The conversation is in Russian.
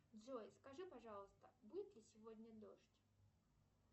джой скажи пожалуйста будет ли сегодня дождь